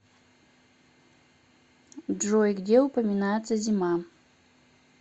джой где упоминается зима